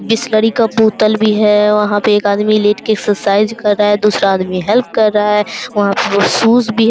बिसलेरी का बोतल भी है। वहाँ पे एक आदमी लेट के एक्सरसाइज कर रहा है दूसरा आदमी हेल्प कर रहा है। वहाँ पर शूज भी है।